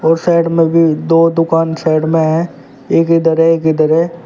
और साइड में भी दो दुकान साइड में है एक इधर है एक इधर है।